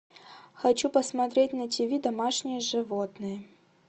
хочу посмотреть на ти ви домашние животные